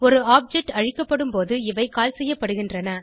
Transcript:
ஒரு ஆப்ஜெக்ட் அழிக்கப்படும்போது இவை கால் செய்யப்படுகின்றன